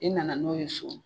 I nana n'o ye so